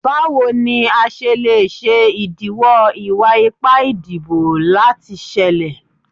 Bawo ni a ṣe le ṣe idiwọ iwa-ipa idibo lati ṣẹlẹ?